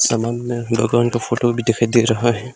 सामने भगवान का फोटो भी दिखाई दे रहा है।